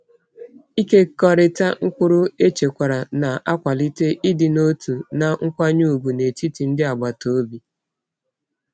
Ịkekọrịta mkpụrụ echekwara na-akwalite ịdị n’otu na nkwanye ùgwù n’etiti ndị agbata obi.